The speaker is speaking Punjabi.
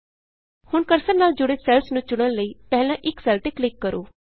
ਹੁਣ ਕਰਸਰ ਨਾਲ ਜੁੜੇ ਸੈੱਲਸ ਨੂੰ ਚੁਣਨ ਲਈ ਪਹਿਲਾਂ ਇਕ ਸੈੱਲ ਤੇ ਕਲਿਕ ਕਰੋ